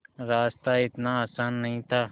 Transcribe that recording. रास्ता इतना आसान नहीं था